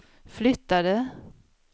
flyttade